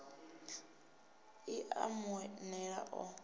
i a mu nela o